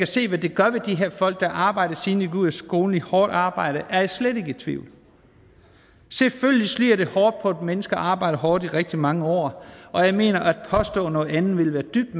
se hvad det gør ved de her folk at arbejde siden de gik ud af skolen i et hårdt arbejde er jeg slet ikke i tvivl selvfølgelig slider det hårdt på et menneske at arbejde hårdt i rigtig mange år og jeg mener at det at påstå noget andet ville være dybt